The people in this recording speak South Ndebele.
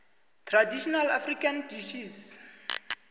traditional african dishes